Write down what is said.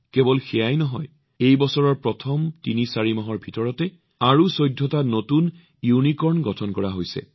কেৱল সেয়াই নহয় এই বছৰৰ ৩৪ মাহত আৰু ১৪টা নতুন ইউনিকৰ্ন গঠন কৰা হৈছিল